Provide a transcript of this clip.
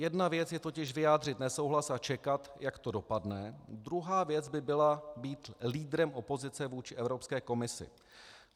Jedna věc je totiž vyjádřit nesouhlas a čekat, jak to dopadne, druhá věc by byla být lídrem opozice vůči Evropské komisi.